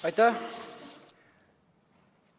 Aitäh!